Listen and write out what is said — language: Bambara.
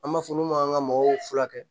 An b'a fɔ olu ma an ka mɔgɔw furakɛ